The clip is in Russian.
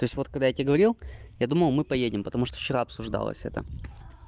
то есть вот когда я тебе говорил я думал мы поедем потому что вчера обсуждалось это